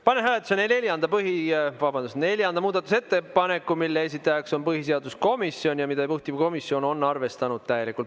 Panen hääletusele neljanda muudatusettepaneku, mille esitajaks on põhiseaduskomisjon ja mida juhtivkomisjon on arvestanud täielikult.